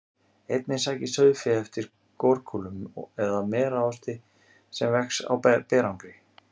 Einnig sækist sauðfé eftir gorkúlum eða merarosti sem vex á berangri.